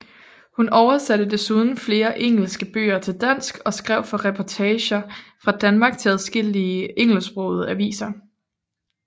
Hun oversatte desuden flere engelske bøger til dansk og skrev for reportager fra Danmark til adskillige engelsksprogede aviser